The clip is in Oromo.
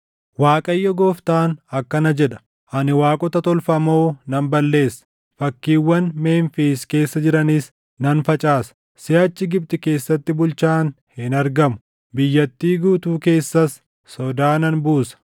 “‘ Waaqayyo Gooftaan akkana jedha: “ ‘Ani waaqota tolfamoo nan balleessa; fakkiiwwan Memfiis keessa jiranis nan facaasa. Siʼachi Gibxi keessatti bulchaan hin argamu; biyyattii guutuu keessas sodaa nan buusa.